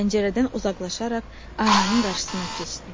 Pəncərədən uzaqlaşaraq aynanın qarşısına keçdi.